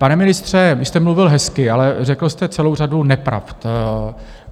Pane ministře, vy jste mluvil hezky, ale řekl jste celou řadu nepravd.